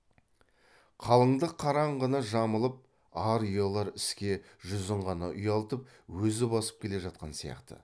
қалыңдық қараңғыны жамылып ар ұялар іске жүзін ғана ұялтып өзі басып келе жатқан сияқты